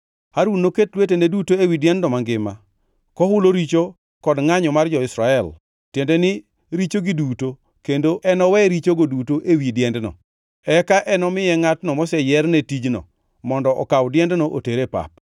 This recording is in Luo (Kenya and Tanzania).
Harun noket lwetene duto ewi diendno mangima, kohulo richo kod ngʼanyo mar jo-Israel, tiende ni richogi duto kendo enowe richogo duto ewi diendno. Eka enomiye ngʼatno moseyier ne tijno mondo okaw diendno oter e pap.